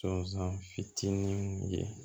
Sɔsan fitininw ye